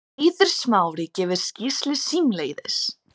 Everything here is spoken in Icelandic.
Eiður Smári gefur skýrslu símleiðis